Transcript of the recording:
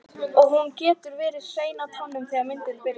Og hún getur verið hrein á tánum þegar myndin byrjar.